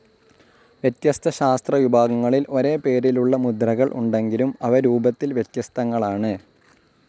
വ്യത്യസ്ത ശാസ്ത്രവിഭാഗങ്ങളിൽ ഒരേ പേരിലുള്ള മുദ്രകൾ ഉണ്ടെങ്കിലും, അവ രൂപത്തിൽ വ്യത്യസ്തങ്ങളാണ്‌.